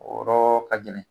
O yɔrɔ ka gɛlɛn